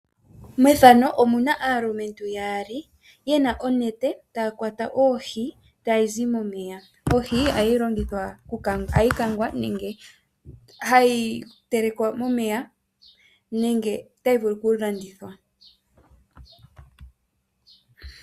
Aalumentu ohaya kwata oohi noonete momeya. Ohi ohayi kwatwa ee tayi telekwa yapya mombiga nenge tayi kangwa nomagadhi.